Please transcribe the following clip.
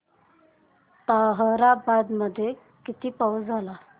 ताहराबाद मध्ये किती पाऊस झाला